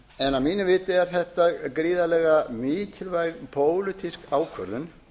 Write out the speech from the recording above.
en að mínu viti er þetta gríðarlega mikilvæg pólitísk ákvörðun